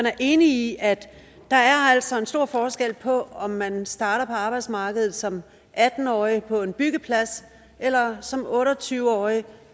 er enig i at der altså er en stor forskel på om man starter på arbejdsmarkedet som atten årig på en byggeplads eller som otte og tyve årig